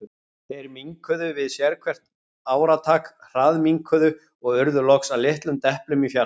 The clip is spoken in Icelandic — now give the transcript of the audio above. Þeir minnkuðu við sérhvert áratak, hraðminnkuðu, og urðu loks að litlum deplum í fjarska.